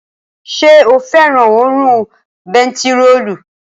Ṣé o fẹ́ràn òórùn bentiróòlù?